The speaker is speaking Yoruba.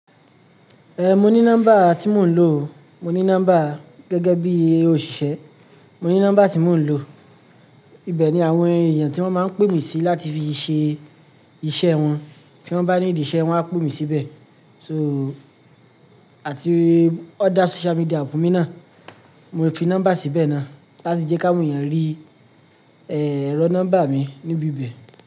Eh, mo ní nọ́mbà tí mò ń lò, mo ní nọ́mbà gẹ́gẹ́ bí òṣìṣẹ́, mo ní nọ́mbà tí mò ń lò. Ibẹ̀ ni àwọn èèyàn tí wọ́n máa ń pè mí sí láti fi ṣe iṣẹ́ wọn, tí wọ́n bá ní ìdí iṣẹ́, wọ́n á pè mí síbẹ̀. So, àti ọ̀dà social media app mi náà, mo fi nọ́mbà síbẹ̀ náà láti jẹ́ káwọn èèyàn rí, eh, rí nọ́mbà mi níbi ibẹ̀